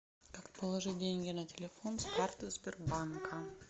как положить деньги на телефон с карты сбербанка